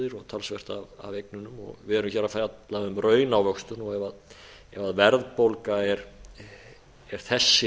talsvert af eignunum varð erum hér að fjalla um raunávöxtun og ef verðbólga er þessi